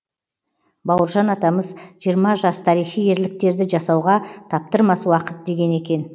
бауыржан атамыз жиырма жас тарихи ерліктерді жасауға таптырмас уақыт деген екен